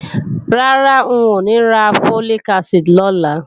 Rárá, ń ò ní ra Folic acid lọ́la